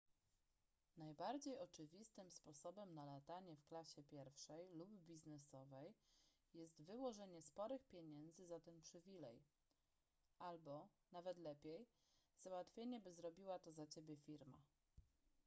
najbardziej oczywistym sposobem na latanie w klasie pierwszej lub biznesowej jest wyłożenie sporych pieniędzy za ten przywilej albo – nawet lepiej – załatwienie by zrobiła to za ciebie firma